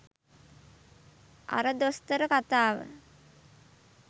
අර දොස්තර කතාව